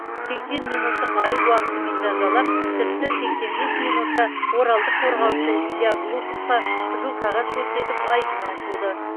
сексен минуттық айып уақытымен жазалап тіпті сексен бес минутта оралдық қорғаушы илья глуховқа қызыл қағаз көрсетіп айдыннан қуды